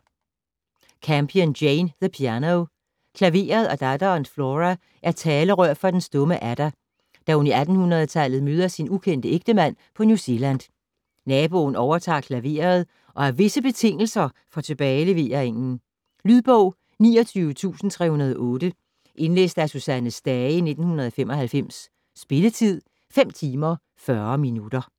Campion, Jane: The piano Klaveret og datteren Flora er talerør for den stumme Ada, da hun i 1800-tallet møder sin ukendte ægtemand på New Zealand. Naboen overtager klaveret og har visse betingelser for tilbageleveringen... Lydbog 29308 Indlæst af Susanne Stage, 1995. Spilletid: 5 timer, 40 minutter.